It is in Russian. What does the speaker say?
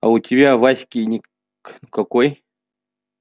а у тебя в аське ник какой